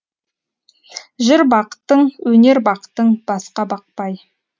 жыр бақтың өнер бақтың басқа бақпай